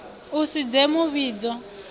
u si dze mu vhidzi